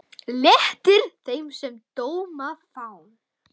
Léttir þeim, sem dóma fá.